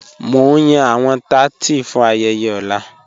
Mo n yan awọn tátí fún ayẹyẹ ọ̀lá.